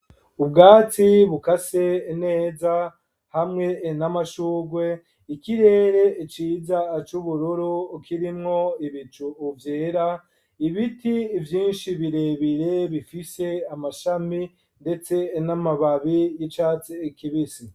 Ubwatsi bukase neza hamwe n'amashugwe ,ikirere ciza c'ubururu kirimwo ibicu vyera, ibiti vyinshi birebire bifise amashami ndetse n'amababi y'icatsi kibisi.